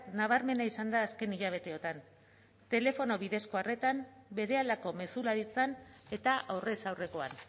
nabarmena izan da azken hilabeteotan telefono bidezko arretan berehalako mezularitzan eta aurrez aurrekoan